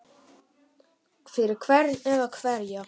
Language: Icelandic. Fyrir hvern eða hverja?